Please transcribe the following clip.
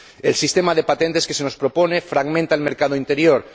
El sistema de patentes que se nos propone fragmenta el mercado interior.